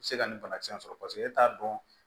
Se ka nin banakisɛ sɔrɔ paseke e t'a dɔn